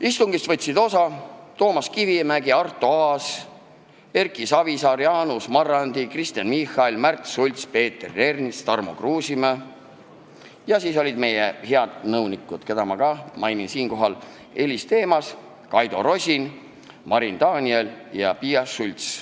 Istungist võtsid osa Toomas Kivimägi, Arto Aas, Erki Savisaar, Jaanus Marrandi, Kristen Michal, Märt Sults, Peeter Ernits ja Tarmo Kruusimäe ning siis olid kohal meie head nõunikud, keda ma ka siinkohal mainin: Elis Themas, Kaido Rosin, Marin Daniel ja Piia Schults.